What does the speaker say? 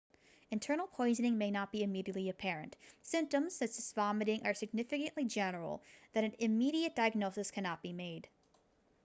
internal poisoning may not be immediately apparent symptoms such as vomiting are sufficiently general that an immediate diagnosis cannot be made